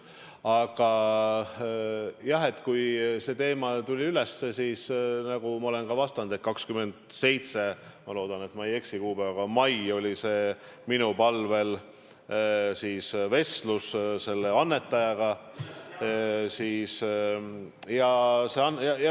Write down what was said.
Aga jah, kui see teema tuli üles, siis, nagu ma olen ka vastanud, 27. mail – ma loodan, et ma ei eksi kuupäevaga – oli minu palvel vestlus selle annetajaga.